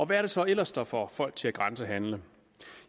hvad det så ellers der får folk til at grænsehandle